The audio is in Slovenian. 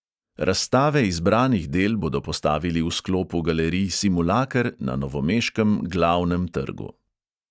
Razstave izbranih del bodo postavili v sklopu galerij simulaker na novomeškem glavnem trgu.